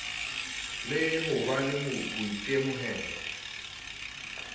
le ho ba le boitemohelo